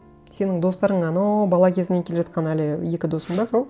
сенің достарың анау бала кезінен келе жатқан әлі екі досың ба сол